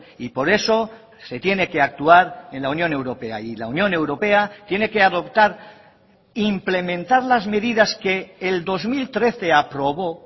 y por eso se tiene que actuar en la unión europea y la unión europea tiene que adoptar implementar las medidas que el dos mil trece aprobó